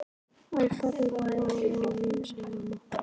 Æ, farðu nú, Lóa-Lóa mín, sagði amma.